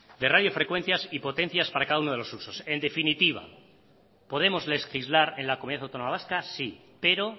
de radiofrecuencias y potencias para cada uno de los usos en definitiva podemos legislar en la comunidad autónoma vasca sí pero